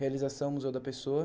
Realização Museu da Pessoa.